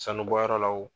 Sanubɔyɔrɔ la wo